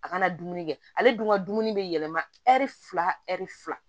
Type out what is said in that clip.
A kana dumuni kɛ ale dun ka dumuni bɛ yɛlɛma fila ɛri fila